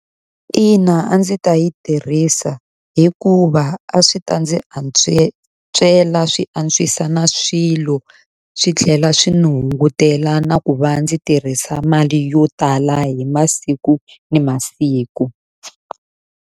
Ina a ndzi ta yi tirhisa hikuva a swi ta ndzi swi antswisa na swilo, swi tlhela swi ndzi hungutela na ku va ndzi tirhisa mali yo tala hi masiku ni masiku.